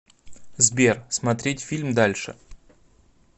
сбер смотреть фильм дальше